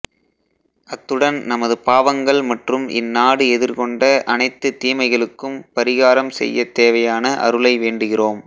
அத்துடன் நமது பாவங்கள் மற்றும் இந்நாடு எதிர்கொண்ட அனைத்துத் தீமைகளுக்கும் பரிகாரம் செய்ய தேவையான அருளை வேண்டுகிறோம்